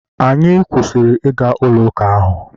anyị kwụsịrị ịga ụlọ uka ahụ